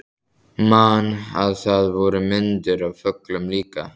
Man að það voru myndir af fuglum líka.